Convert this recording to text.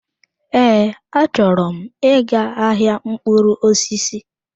Ee, achọrọ m ị ga-ahịa mkpụrụ osisi.